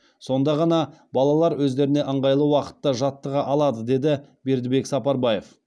сонда ғана балалар өздеріне ыңғайлы уақытта жаттыға алады деді бердібек сапарбаев